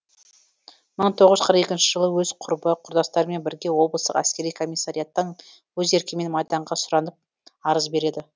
мың тоғыз жүз қырық екінші жылы өз құрбы құрдастарымен бірге облыстық әскери комиссариаттан өз еркімен майданға сұранып арыз береді